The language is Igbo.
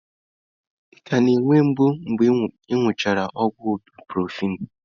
Ị ka na-enwe mgbu mgbe ị nụchara ọgwụ ibụprọfen?